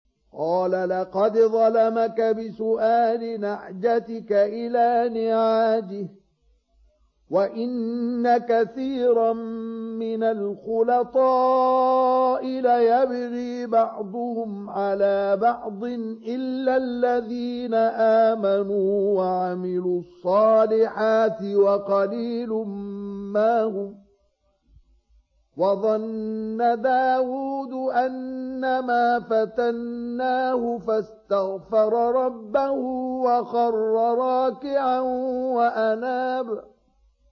قَالَ لَقَدْ ظَلَمَكَ بِسُؤَالِ نَعْجَتِكَ إِلَىٰ نِعَاجِهِ ۖ وَإِنَّ كَثِيرًا مِّنَ الْخُلَطَاءِ لَيَبْغِي بَعْضُهُمْ عَلَىٰ بَعْضٍ إِلَّا الَّذِينَ آمَنُوا وَعَمِلُوا الصَّالِحَاتِ وَقَلِيلٌ مَّا هُمْ ۗ وَظَنَّ دَاوُودُ أَنَّمَا فَتَنَّاهُ فَاسْتَغْفَرَ رَبَّهُ وَخَرَّ رَاكِعًا وَأَنَابَ ۩